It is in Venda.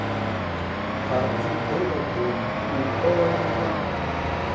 ha dzidoroboni u ola mepe